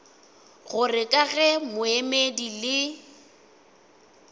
gore ka ge moemedi le